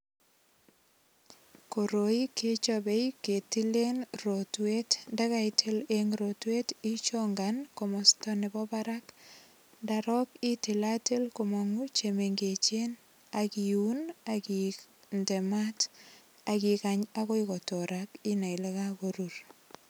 Koroi kechabe ketilen rotwet, ndakaitil eng rotwet ichongan komasta nebo barak, ndarok itilatil komang chemengechen, akiun ,akinde mat, akikany akoi kotorak inai Ile kakorur.